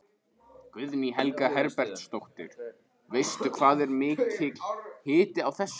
Guðný Helga Herbertsdóttir: Veistu hvað er mikill hiti á þessu?